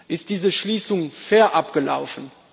Ist diese Schließung fair abgelaufen?